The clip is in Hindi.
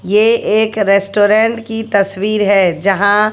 ये एक रेस्टोरेंट की तस्वीर है यहां--